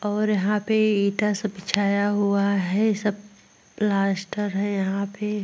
और यहां पे ईटा सब बिछाया हुआ है। सब प्लास्टर है यहां पे ।